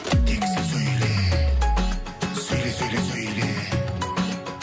тек сен сөйле сөйле сөйле сөйле